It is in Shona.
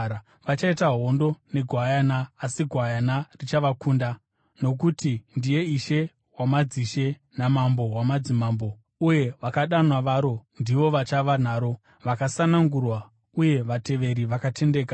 Vachaita hondo neGwayana, asi Gwayana richavakunda nokuti ndiye Ishe wamadzishe naMambo wamadzimambo, uye vakadanwa varo ndivo vachava naro, vakasanangurwa uye vateveri vakatendeka.”